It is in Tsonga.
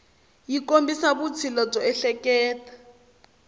yi kombisa vutshila byo ehleketa